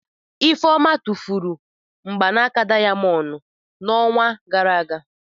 Ifeoma tụfuru mgbanaka dayamondu ya n'ọnwa gara aga.